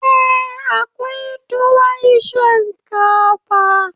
Eh, akwai tuwon shinkafa